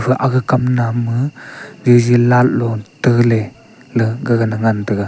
aga kamnam ma zeze light lot tele la ngan taiga.